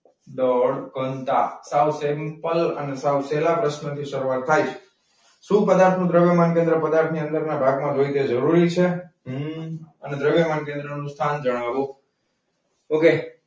દળ ઘનતા સાવ simple અને પેહલા પ્રશ્ન થી શરૂઆત થાઈ છે. શું બધા સૂત્ર માટે કેન્દ્ર પદાર્થ ની અંદર ના ભાગ માં તરીકે જરૂરી છે? હમ દ્રવ્ય માર્ગની અંદર નું સ્થાન જણાવો. okay.